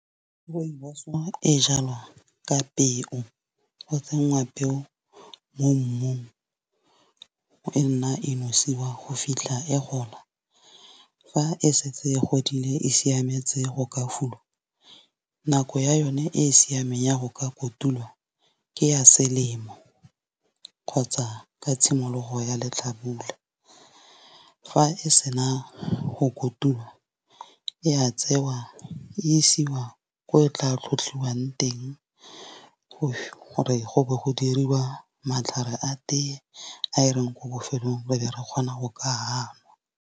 Rooibos e jalwa ka peo go tsenngwa peo mo mmung, e nna e nosiwa go fitlha e gola. Fa e setse e godile e siametse go ka fuduwa, nako ya yone e e siameng ya go ka kotulwa ke ya selemo kgotsa ka tshimologo ya letlhabula. Fa e sena go kotulwa ya tsewa, e isiwa ko e tla tlhotlhiwang teng, gore go be go diriwa matlhare a tee a e reng ko bofelong re be re kgona go ka nwa.